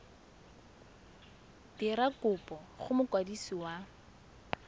dira kopo go mokwadisi wa